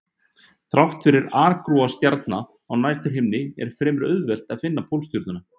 Þrátt fyrir aragrúa stjarna á næturhimninum er fremur auðvelt að finna Pólstjörnuna.